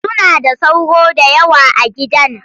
Suna da sauro da yawa a gidan